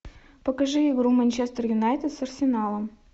покажи игру манчестер юнайтед с арсеналом